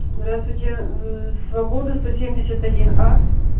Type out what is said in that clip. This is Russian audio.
здравствуйте свободы сто семьдесят один а